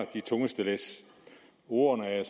de tungeste læs ordene er jeg